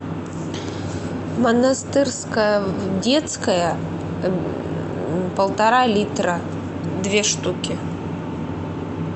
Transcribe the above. монастырская детская полтора литра две штуки